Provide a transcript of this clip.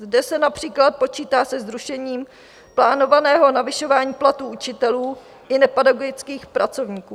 Zde se například počítá se zrušením plánovaného navyšování platů učitelů i nepedagogických pracovníků.